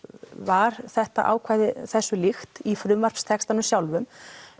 var þetta ákvæði þessu líkt í frumvarpstextanum sjálfum